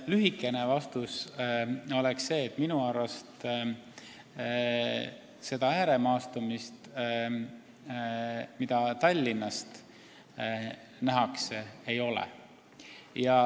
Lühike vastus oleks see, et minu arust sellist ääremaastumist, mida Tallinnast nähakse, ei ole.